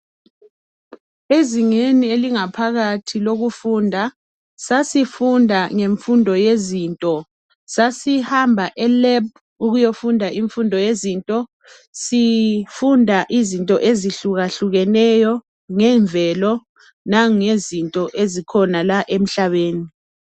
Ezingeni elingaphakathi lokufunda sasifunda ngemfundo yezinto, sasihamba e Lab ukuyofunda imfundo yezinto sifunda izinto ezihluka hlukeneyo ngemvelo langezinto ezikhona la emhlabeni.